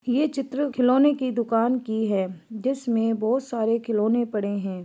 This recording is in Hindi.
ये चित्र खिलौने की दुकान की है जिसमें बहुत सारे खिलौने पड़े है।